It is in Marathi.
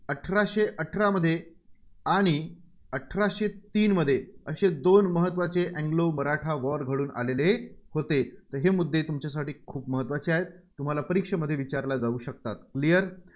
अठराशे अठरामध्ये आणि अठराशे तीनमध्ये असे दोन महत्त्वाचे anglo मराठा war घडून आलेले होते. तर हे मुद्दे तुमच्यासाठी खूप महत्त्वाचे आहेत. तुम्हाला परीक्षेमध्ये विचारला जाऊ शकतात. Clear